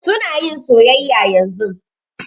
Su na yin soyayya yanzun.